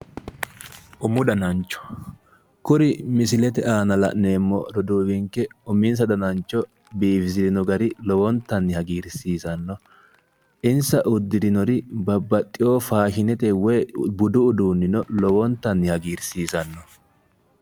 umu danancho kuri misilete aana la'neemmo roduuwinke uminsa danancho biifisirinon gari lowontanni hagiirsiisanno insa uddirinori babaxewo faashinete woyi budu uduunnino lowontanni hagiirsiisanno.